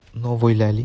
новой ляли